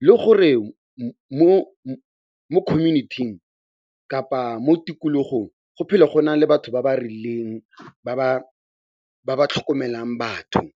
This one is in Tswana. le gore mo community-ing kapa mo tikologong go phele go na le batho ba ba rileng ba ba tlhokomelang batho.